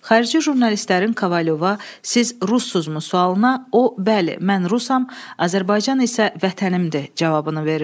Xarici jurnalistlərin Kovalyova, siz rusmusunuz sualına, o: bəli, mən rusam, Azərbaycan isə vətənimdir cavabını verir.